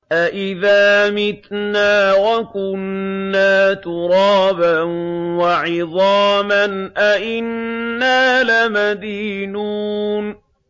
أَإِذَا مِتْنَا وَكُنَّا تُرَابًا وَعِظَامًا أَإِنَّا لَمَدِينُونَ